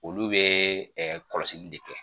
Olu bɛ kɔlɔsili de kɛ